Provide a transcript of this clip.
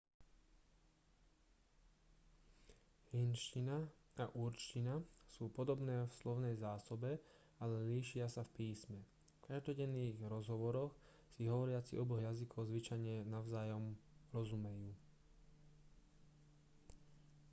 hindčina a urdčina sú podobné v slovnej zásobe ale líšia sa v písme v každodenných rozhovoroch si hovoriaci oboch jazykov zvyčajne navzájom rozumejú